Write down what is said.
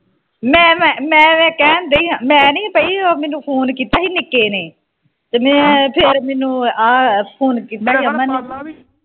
ਮੈ ਮੈ ਮੈ ਵੈਸੇ ਕਹਿਣ ਦੀ ਹਾ ਮੈ ਨਹੀਂ ਹਾਂ ਪਈ ਉਹ ਮੈਨੂੰ ਫੋਨ ਕੀਤਾ ਹੀ ਨਿੱਕੇ ਨੇ ਤੇ ਮੈ ਫਿਰ ਮੈਨੂੰ ਆ ਫੋਨ ਕੀਤਾ ਰਮਨ ਨੇ